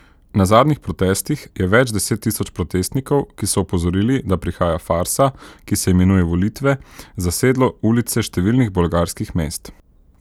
Na zadnjih protestih je več deset tisoč protestnikov, ki so opozorili, da prihaja farsa, ki se imenuje volitve, zasedlo ulice številnih bolgarskih mest.